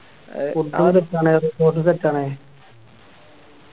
Food ഉം Set ആണ് Resort ഉം Set ആണ്